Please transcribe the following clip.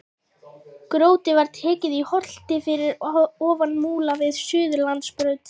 Grjótið var tekið í holtinu fyrir ofan Múla við Suðurlandsbraut.